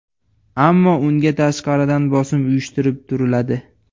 Ammo unga tashqaridan bosim uyushtirib turiladi.